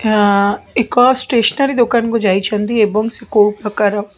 ଏହା ଏକ ଷ୍ଟେସନାରୀ ଦୋକାନ କୁ ଯାଇଛନ୍ତି ଏବଂ ସେ କୋଉ ପ୍ରକାର --